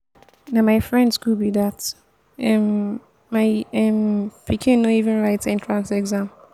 na my friend school be dat um my um pikin no even write entrance exam.